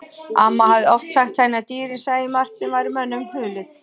Amma hafði oft sagt henni að dýrin sæju margt sem væri mönnunum hulið.